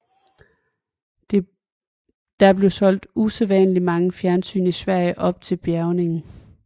Der blev solgt usædvanlig mange fjernsyn i Sverige op til bjærgningen